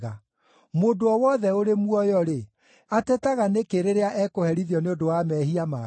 Mũndũ o wothe ũrĩ muoyo-rĩ, atetaga nĩkĩ rĩrĩa ekũherithio nĩ ũndũ wa mehia make?